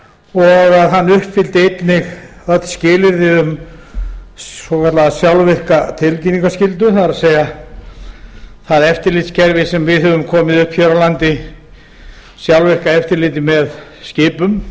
og að hann uppfylli einnig öll skilyrði um svokallaða sjálfvirka tilkynningarskyldu það er það eftirlitskerfi sem við höfum komið upp hér á landi sjálfvirku eftirliti með skipum